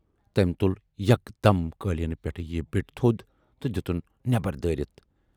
تمٔۍ تُل یکدم قٲلیٖنہٕ پٮ۪ٹھٕ یہِ بِٹ تھود تہٕ دِتُن نیبر دٲرِتھ۔